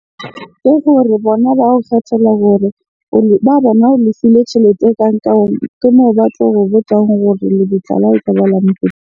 Ke gore bona ba o kgethela hore ba bona o lefile tjhelete e kankang. Ke moo ba tlo o botjang hore lebitla .